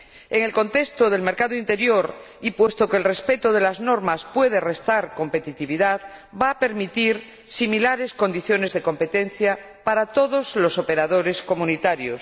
En el contexto del mercado interior, y puesto que el respeto de las normas puede restar competitividad, va a permitir condiciones de competencia similares para todos los operadores comunitarios.